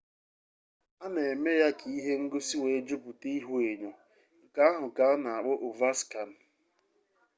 a na eme ya ka ihe ngosi wee juputa ihuenyo nke ahụ ka a na-akpọ ovaskan